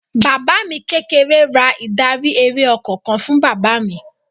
Bàbá mi kékeré ra ìdarí-eré ọkọ̀ kan fún bàbá mi.